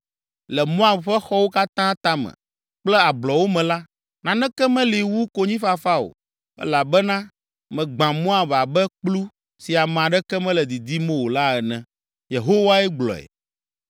Le Moab ƒe xɔwo katã tame kple ablɔwo me la, naneke meli wu konyifafa o, elabena megbã Moab abe kplu si ame aɖeke mele didim o la ene.” Yehowae gblɔe.